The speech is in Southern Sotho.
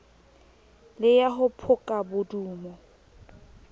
le ya ho phoka bodumo